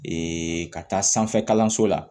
Ee ka taa sanfɛ kalanso la